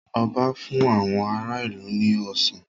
Ọba fún àwọn ará ìlú ní Ọsàn